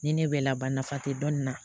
Ni ne bɛ laban nafa tɛ dɔnni na